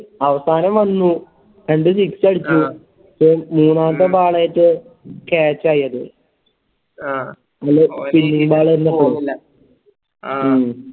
അവസാനം വന്നു രണ്ട് six അടിച്ചു മൂന്നാമത്തെ Ball ആറ്റം catch ആയത്